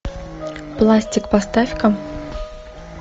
пластик поставь ка